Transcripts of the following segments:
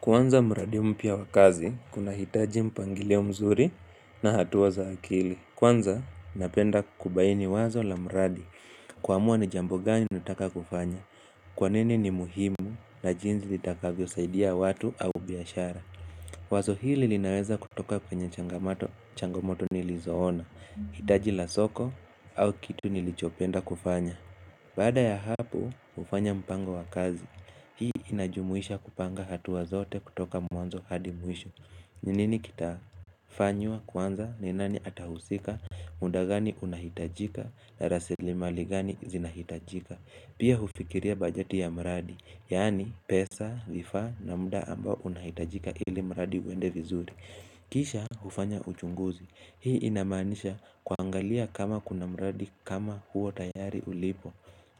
Kuanza mradi mpya wa kazi, unahitaji mpangilio mzuri na hatua za akili. Kwanza, napenda kubaini wazo la mradi. Kuamua ni jambo gani ninataka kufanya. Kwa nini ni muhimu na jinsi itakavyosaidia watu au biashara. Wazo hili linaweza kutoka kwenye changamato changamoto nilizoona, hitaji la soko au kitu nilichopenda kufanya. Baada ya hapo, hufanya mpango wa kazi. Hii inajumuisha kupanga hatua zote kutoka mwanzo hadi mwisho. Ni ninikitafanywa kwanza ni nani atahusika, utadhani kunahitajika, na rasilimali gani zinahitajika. Pia hufikiria bajeti ya mradi, yaani pesa, vifaa na muda ambao unahitajika ili mradi uende vizuri. Kisha hufanya uchunguzi. Hii inamaanisha kwangalia kama kuna mradi kama huo tayari ulipo.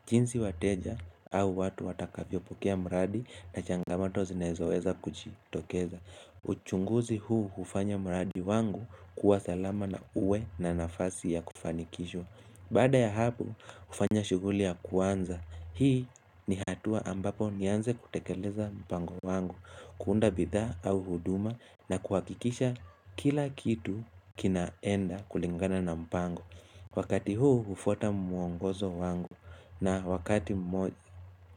Jinsi wateja au watu watakavyopokea mradi na changamoto zinazoweza kuchitokeza. Uchunguzi huu hufanya mradi wangu kuwa salama na uwe na nafasi ya kufanikishwa. Baada ya hapo hufanya shughuli ya kuanza. Hii ni hatua ambapo nianze kutekeleza mpango wangu. Kuunda bidhaa au huduma na kuhakikisha kila kitu kinaenda kulingana na mpango Wakati huu hufuata mwongozo wangu na wakati mmoja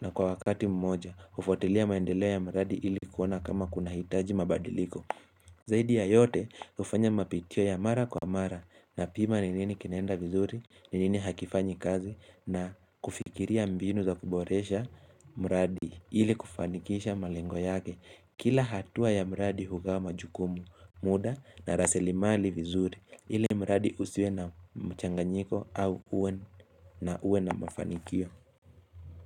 na kwa wakati mmoja hufuatilia maendeleo ya mradi ili kuona kama kunahitaji mabadiliko Zaidi ya yote hufanya mapitio ya mara kwa mara napima ni nini kinaenda vizuri ni nini hakifanyi kazi na kufikiria mbinu za kuboresha mradi ili kufanikisha malengo yake Kila hatua ya mradi hugawa majukumu muda na rasilimali vizuri ile mradi usiwe na mchanganyiko au uon na uwe na mafanikio.